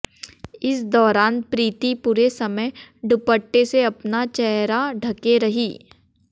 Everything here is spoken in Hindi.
इस दौरान प्रीति पूरे समय दुपट्टे से अपना चेहरा ढंके रहीं